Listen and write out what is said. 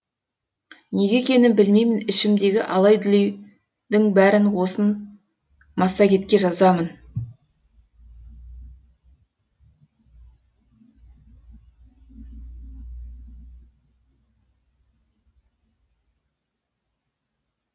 неге екенін білмеймін ішімдегі алай дүлейдің бәрін осы массагетке жазамын